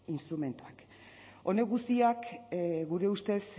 instrumentuak honek guztiak gure ustez